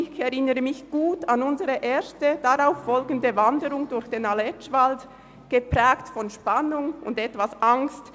Ich erinnere mich gut an unsere erste darauffolgende Wanderung durch den Aletschwald, geprägt von Spannung und etwas Angst.